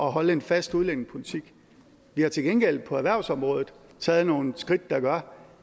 holde en fast udlændingepolitik vi har til gengæld på erhvervsområdet taget nogle skridt der gør